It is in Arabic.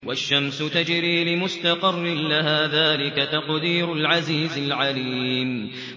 وَالشَّمْسُ تَجْرِي لِمُسْتَقَرٍّ لَّهَا ۚ ذَٰلِكَ تَقْدِيرُ الْعَزِيزِ الْعَلِيمِ